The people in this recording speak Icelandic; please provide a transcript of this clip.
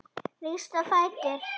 Rístu á fætur